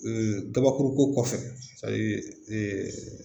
kabakuru ko kɔfɛ